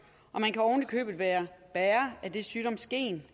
og man kan ovenikøbet være bærer af det sygdomsgen